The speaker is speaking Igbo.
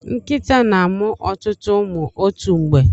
Nkịta na-amụ ọtụtụ ụmụ otu mgbe.